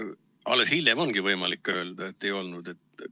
Alles hiljem ongi võimalik öelda, et ei olnud.